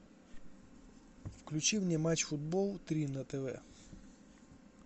включи мне матч футбол три на тв